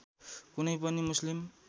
कुनै पनि मुस्लिम